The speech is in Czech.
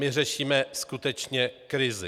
My řešíme skutečně krizi.